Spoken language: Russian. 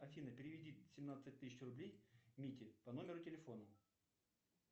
афина переведи семнадцать тысяч рублей мите по номеру телефона